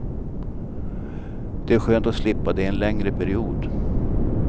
Det är skönt att slippa det en längre period.